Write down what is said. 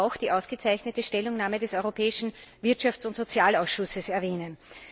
Ich möchte aber auch die ausgezeichnete Stellungnahme des Europäischen Wirtschafts und Sozialausschusses erwähnen.